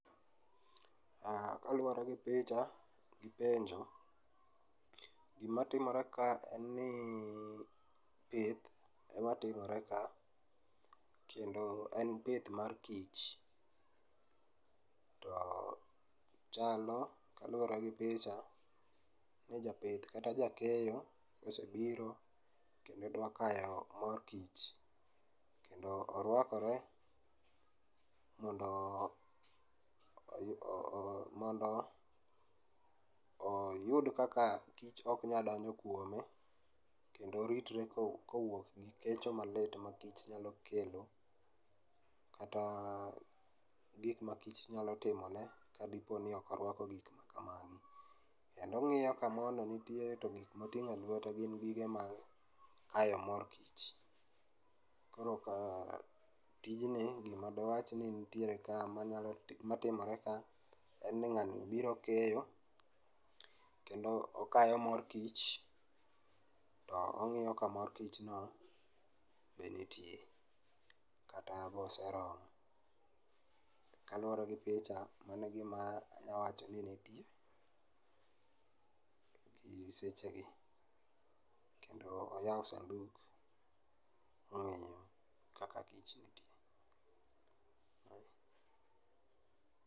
Kaluore gi picha gi penjo, gima timore ka en ni pith ema timore ka kendo en pith mar kich, to chalo kaluore gi picha ni japith kata ja keyo osebiro kendo dwa kayo mor kich kendo orwakore mondo ,mondo oyud kaka kich ok nyal donjo kuome kendo oritre kowuok e kecho malit ma kich nyalo kelo kata gikma kich nyalo timone kadiponi ok orwako gik makamagi. Kendo ong'iyo ka moo no nitie to gikma otingo.e lwete gin gige kayo mor kich. Koro ka tijni, gima dawachni nitiere ka madwaro, matimore ka en ni ng'ani biro keyo kendo okayo mor kich to ong'iyo ka mor kich no be nitie kata oseromo. Kaluore gi picha, mano e gima anya wacho ni nitie gi e sechegi kendo oyao sanduk ong'iyo kaka kich nitie